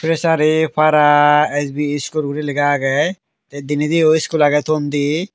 fishari para S_B iskul gori lega agey te denediyo iskul agey ton di.